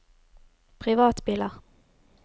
privatbiler